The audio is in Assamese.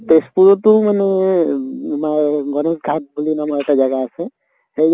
তেজপুৰতো মানে উম আমাৰ গনেশ ঘাট বুলি নামৰ এটা জাগা আছে সেই